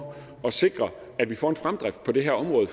at sikre at vi får en fremdrift på det her område